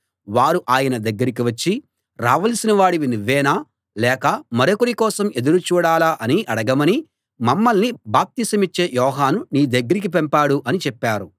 వారు ఆయన దగ్గరికి వచ్చి రావలసిన వాడివి నువ్వేనా లేక మరొకరి కోసం ఎదురు చూడాలా అని అడగమని మమ్మల్ని బాప్తిసమిచ్చే యోహాను నీ దగ్గరికి పంపాడు అని చెప్పారు